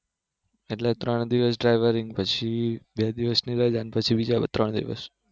એટલે ત્રણ દિવસ Traveling પછી બે દિવસની રજા પછી બીજા ત્રણ દિવસ